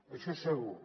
això segur